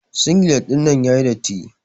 Singilet ɗinnan yayi datti.